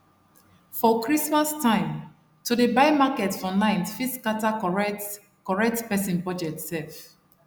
for christmas time to dey buy market for night fit scatter correctcorrect person budget sef